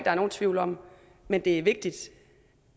er nogen tvivl om men det er vigtigt